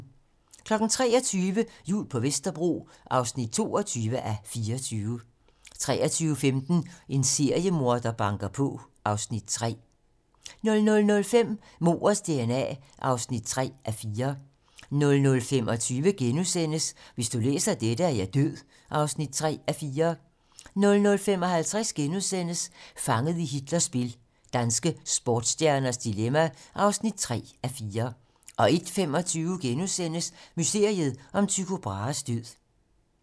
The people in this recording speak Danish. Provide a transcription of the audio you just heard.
23:00: Jul på Vesterbro (22:24) 23:15: En seriemorder banker på (Afs. 3) 00:05: Mordets dna (3:4) 00:25: Hvis du læser dette, er jeg død (3:4)* 00:55: Fanget i Hitlers spil - danske sportsstjernes dilemma (3:4)* 01:25: Mysteriet om Tycho Brahes død *